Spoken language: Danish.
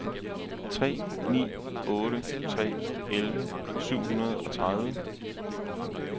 tre ni otte tre elleve syv hundrede og tredive